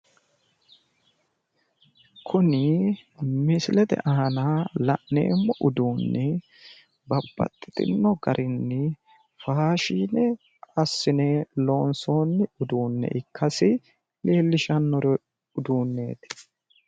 Kuni misilete aana la'neemmo uduunni babbaxxitino garinni faashine assine loonsoonni uduunne ikkasi leellishshanno uduunneeti